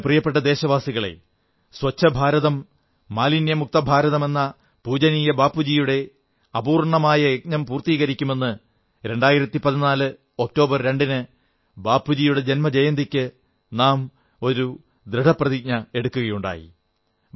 എന്റെ പ്രിയപ്പെട്ട ദേശവാസികളേ സ്വച്ഛഭാരതം മാലിന്യമുക്തഭാരതമെന്ന പൂജനീയ ബാപ്പുജിയുടെ അപൂർണ്ണമായ യജ്ഞം പൂർത്തീകരിക്കുമെന്ന് 2014 ഒക്ടോബർ 2 ന് ബാപ്പുജിയുടെ ജന്മജയന്തിക്ക് നാം ഒരു ദൃഢനിശ്ചയം എടുക്കുകയുണ്ടായി